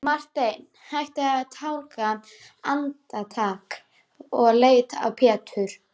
Marteinn hætti að tálga andartak og leit á Pétur.